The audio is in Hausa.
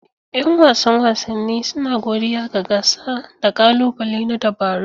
Yan wasan wasanni suna godiya ga gasa da ƙalubale na dabaru.